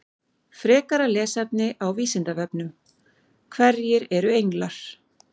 Frekara lesefni á Vísindavefnum: Hverjir eru englar?